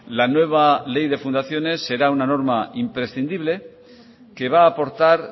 la nueva ley de fundaciones será una norma imprescindible que va a aportar